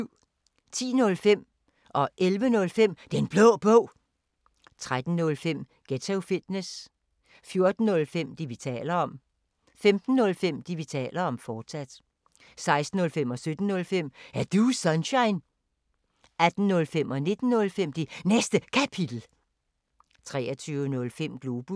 10:05: Den Blå Bog 11:05: Den Blå Bog, fortsat 13:05: Ghetto Fitness 14:05: Det, vi taler om 15:05: Det, vi taler om, fortsat 16:05: Er Du Sunshine? 17:05: Er Du Sunshine? 18:05: Det Næste Kapitel 19:05: Det Næste Kapitel, fortsat 23:05: Globus